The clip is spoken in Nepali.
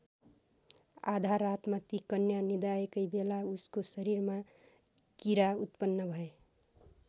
आधा रातमा ती कन्या निदाएकै बेला उसको शरीरमा किरा उत्पन्न भए।